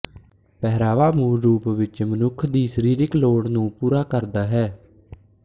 ਪਹਿਰਾਵਾ ਮੂਲ ਰੂਪ ਵਿੱਚ ਮਨੁੱਖ ਦੀ ਸਰੀਰਕ ਲੋੜ ਨੂੰ ਪੂਰਾ ਕਰਦਾ ਹੈ